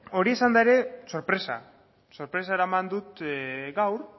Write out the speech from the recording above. hori izan da ere sorpresa sorpresa eraman dut gaur